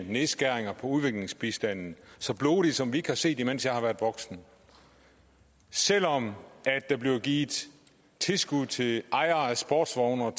nedskæringer på udviklingsbistanden så blodige som vi ikke har set det mens jeg har været voksen selv om der bliver givet tilskud til ejere af sportsvogne og